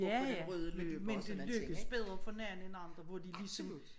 Ja ja men det men det lykkes bedre for nogen end andre hvor de ligesom